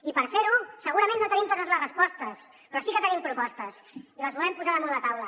i per fer ho segurament no tenim totes les respostes però sí que tenim propostes i les volem posar damunt la taula